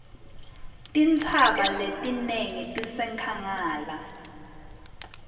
tintsaba letinengi tisenkhangala